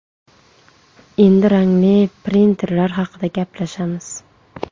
Endi rangli printerlar haqida gaplashamiz.